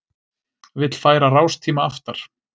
Vill færa rástíma aftar